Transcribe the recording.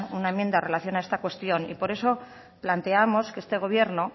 una enmienda en relación a esta cuestión y por eso plantemos que este gobierno